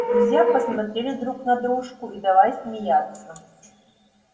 друзья посмотрели друг на дружку и давай смеяться